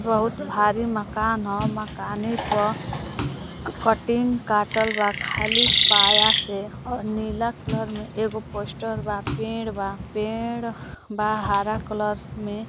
बहुत भारी मकान ह। मकाने प कटिंग काटल बा खाली पाया से। अ नीला कलर में एगो पोस्टर बा। पेड़ बा। पेड़ बा हरा कलर में।